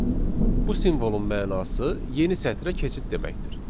Bu simvolun mənası yeni sətrə keçid deməkdir.